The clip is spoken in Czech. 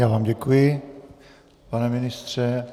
Já vám děkuji, pane ministře.